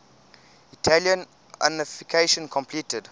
italian unification completed